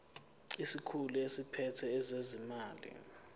isikhulu esiphethe ezezimali